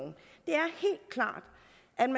kan